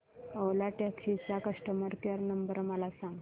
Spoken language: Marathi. ओला टॅक्सी चा कस्टमर केअर नंबर मला सांग